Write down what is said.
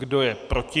Kdo je proti?